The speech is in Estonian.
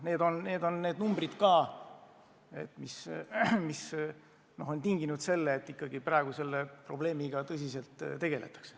Need on numbrid, mis on kaasa toonud, et praegu selle probleemiga tõsiselt tegeletakse.